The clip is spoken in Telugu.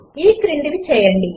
ఈ క్రిందివి చేయండి